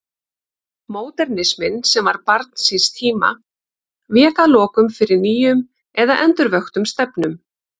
Módernisminn, sem var barn síns tíma, vék að lokum fyrir nýjum eða endurvöktum stefnum.